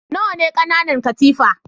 Nawa ne ƙananan katifa?